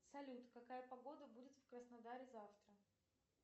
салют какая погода будет в краснодаре завтра